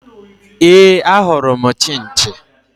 Éè, ahụrụ m Chinchi